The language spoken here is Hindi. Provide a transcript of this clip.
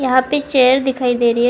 यहां पे चेयर दिखाई दे रही है।